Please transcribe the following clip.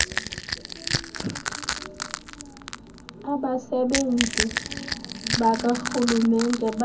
abasebenzi bakarhulumente baya